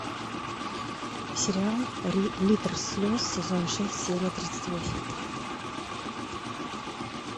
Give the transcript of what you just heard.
сериал литр слез сезон шесть серия тридцать восемь